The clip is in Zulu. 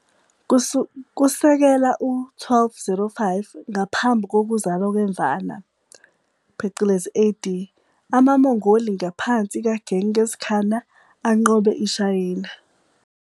Kusekela u-1205 ngaphambu kokuzala kweMvana phecelezi AD, amaMongoli ngaphansi kaGengis Khana anqobe iShayina.